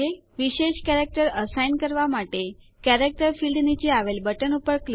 વિશેષ કેરેક્ટર અક્ષર અસાઇન કરવા માટે કેરેક્ટર ફીલ્ડ નીચે આવેલ બટન ઉપર ક્લિક કરો